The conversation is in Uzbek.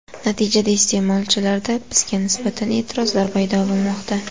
Natijada iste’molchilarda bizga nisbatan e’tirozlar paydo bo‘lmoqda.